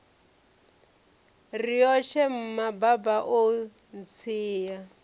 riotshe mma baba o ntsia